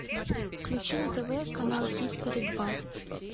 включи на тв канал хистори два